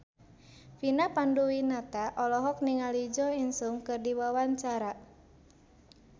Vina Panduwinata olohok ningali Jo In Sung keur diwawancara